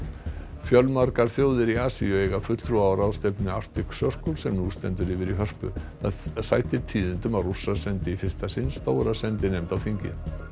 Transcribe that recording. fjölmargar þjóðir í Asíu eiga fulltrúa á ráðstefnunni Arctic Circle sem nú stendur yfir í Hörpu það sætir tíðindum að Rússar sendu í fyrsta sinn stóra sendinefnd á þingið